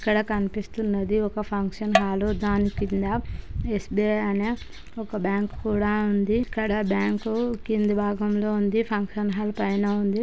ఇక్కడ కనిపిస్తున్నది ఒక ఫంక్షన్ హలు దాని కింద స్_బి_ఐ అని ఒక బ్యాంక్ కూడ ఉంది ఇక్కడ బ్యాంకు కింది భాగంలొ ఉందని ఫంక్షన్ హాల్ పైనఉంది.